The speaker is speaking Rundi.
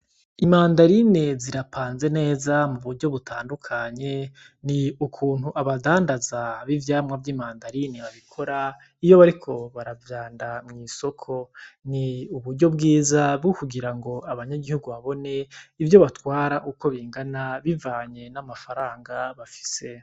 Imandarine zirapanze neza mu buryo butandukanye ni ukuntu abadandaza b'ivyamwa vy'imandarine babikora iyo bariko baravyanda mw'isoko ni uburyo bwiza bwo kurira ngo abanyagihugu babone ivyo batwara uko bingana bivanye n'amafaranga bafise.